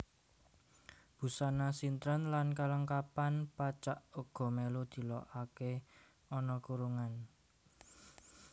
Busana sintren lan kelengkapan pacak uga melu dilokake ana kurungan